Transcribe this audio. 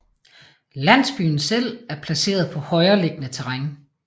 Landsbyen selv er placeret på højreliggende terræn